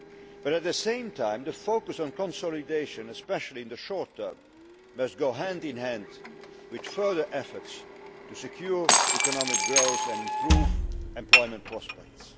But at the same time, the focus on consolidation, especially in the short term, must go hand in hand with further efforts to secure economic growth and improve employment prospects.